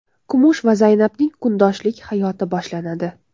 Kumush va Zaynabning kundoshlik hayoti boshlanadi.